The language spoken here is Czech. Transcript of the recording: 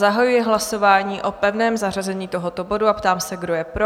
Zahajuji hlasování o pevném zařazení tohoto bodu a ptám se, kdo je pro?